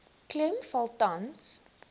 klem val tans